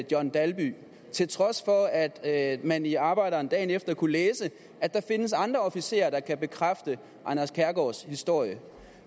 john dalby til trods for at man i arbejderen dagen efter kunne læse at der findes andre officerer der kan bekræfte anders kærgaards historie